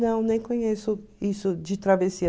Não, nem conheço isso de Travessia.